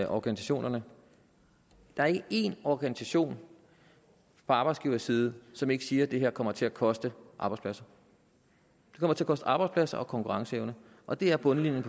organisationerne der er ikke en organisation på arbejdsgiverside som ikke siger at det her kommer til at koste arbejdspladser det kommer til at koste arbejdspladser og konkurrenceevne og det er bundlinjen